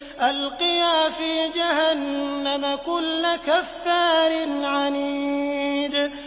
أَلْقِيَا فِي جَهَنَّمَ كُلَّ كَفَّارٍ عَنِيدٍ